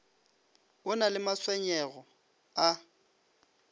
o na le matshwenyego a